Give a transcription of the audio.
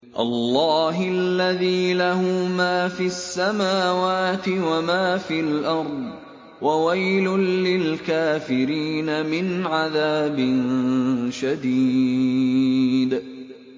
اللَّهِ الَّذِي لَهُ مَا فِي السَّمَاوَاتِ وَمَا فِي الْأَرْضِ ۗ وَوَيْلٌ لِّلْكَافِرِينَ مِنْ عَذَابٍ شَدِيدٍ